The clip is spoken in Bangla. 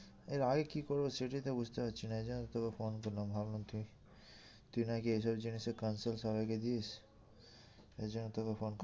এর আগে কি করবো সেটাই তো বুঝতে পারছি না এই জন্য তোকে phone করলাম ভাবলাম তুই তুই নাকি এই সব জিনিসে সবাইকে দিস এই জন্য তোকে phone করলাম